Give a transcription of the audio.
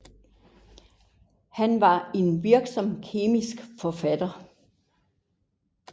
Han var en virksom kemisk forfatter